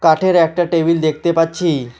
কাঠের একটা টেবিল দেখতে পাচ্ছি।